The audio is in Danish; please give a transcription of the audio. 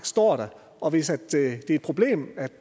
står der og hvis det er et problem at